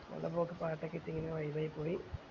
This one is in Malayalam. പാട്ടൊക്കെ ഇട്ടു അങ്ങനെ vibe ആയി പോയി